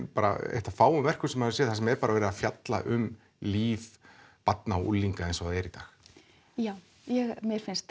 eitt af fáum verkum sem maður hefur séð þar sem er verið að fjalla um líf barna og unglinga eins og það er í dag já mér finnst